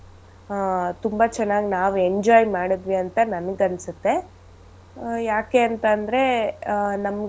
ಆಹ್ ತುಂಬಾ ಚೆನ್ನಾಗ್ ನಾವ್ enjoy ಮಾಡದ್ವಿ ಅಂತ ನನ್ಗ್ ಅನ್ಸುತ್ತೆ ಆಹ್ ಯಾಕೆಂತಂದ್ರೆ ಆಹ್.